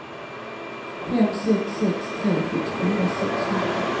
fem sex sex tre sjuttiofyra sexhundra